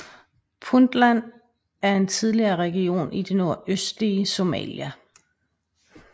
Puntland er en tidligere region i det nordøstlige Somalia